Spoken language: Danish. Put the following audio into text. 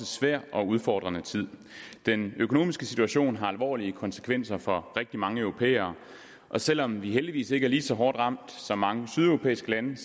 svær og udfordrende tid den økonomiske situation har alvorlige konsekvenser for rigtig mange europæere og selv om vi heldigvis ikke er lige så hårdt ramt som mange sydeuropæiske lande